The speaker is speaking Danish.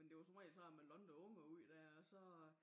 Men det var som regel sådan man lånte ungerne ud dér og så